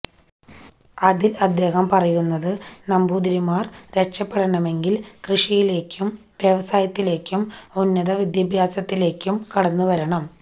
അതില് അദ്ദേഹം പറയുന്നത് നമ്പൂതിരിമാര് രക്ഷപ്പെടണമെങ്കില് കൃഷിയിലേക്കും വ്യവസായത്തിലേക്കും ഉന്നത വിദ്യാഭ്യാസത്തിലേക്കും കടന്നുവരണം